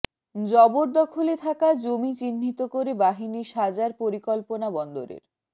জবরদখলে থাকা জমি চিহ্ণিত করে বাহিনী সাজার পরিকল্পনা বন্দরের